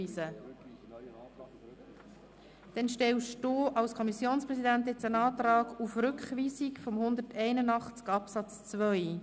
Wenger stellt als Kommissionspräsident den Antrag auf Rückweisung von Artikel 181 Absatz 2.